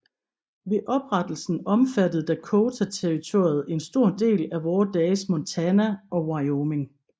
Ved oprettelsen omfattede Dakota Territoriet en stor del af vore dages Montana og Wyoming